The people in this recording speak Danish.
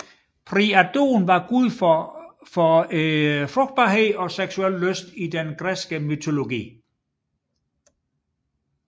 Priadon var gud for frugtbarhed og seksuel lyst i den græske mytologi